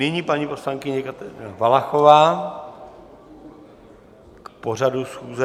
Nyní paní poslankyně Kateřina Valachová k pořadu schůze.